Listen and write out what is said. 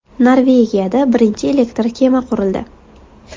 Norvegiyada birinchi elektr kema qurildi.